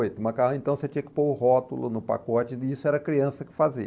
Macarrão então você tinha que pôr o rótulo no pacote e isso era a criança que fazia.